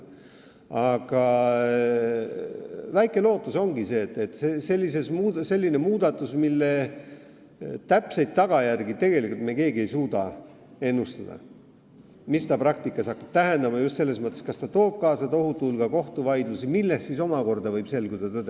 Aga väike lootus ongi see, et see on selline muudatus, mille täpseid tagajärgi me keegi ei suuda ette näha ega tea, mis see praktikas tähendab – just selles mõttes, et me ei tea, kas see toob kaasa tohutu hulga kohtuvaidlusi, millest omakorda võib selguda tõde.